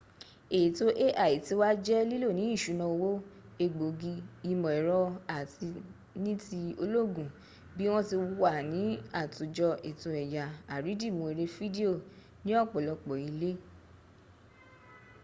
ètò al ti wá jẹ́ lílò ní ìṣúná owó egbògi ìmọ̀ ẹ̀rọ àti ní ti ológun bí wọ́n tí wà ní àtòjọ ètò ẹ̀yà àrídimu erẹ fídíò ní ọ̀pọ̀lọpọ̀ ilé